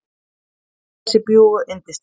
Mér finnst þessi bjúgu yndisleg.